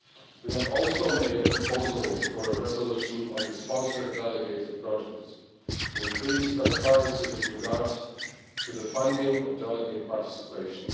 We have also made a proposal for a resolution on the sponsored delegated projects to increase transparency with regard to the funding of delegate participation.